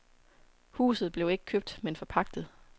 Huset blev ikke købt men forpagtet.